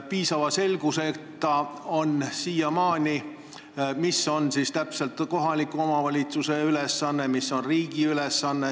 Siiamaani on aga selgusetu, mis siis on täpselt kohaliku omavalitsuse ülesanne ja mis on riigi ülesanne.